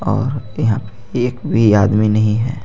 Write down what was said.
और यहाँ एक भी आदमी नहीं हे.